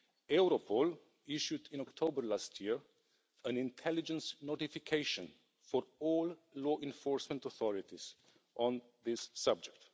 Europol issued in October last year an intelligence notification for all law enforcement authorities on this subject.